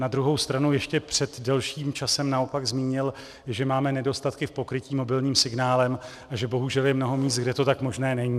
Na druhou stranu ještě před delším časem naopak zmínil, že máme nedostatky v pokrytí mobilním signálem a že bohužel je mnoho míst, kde to tak možné není.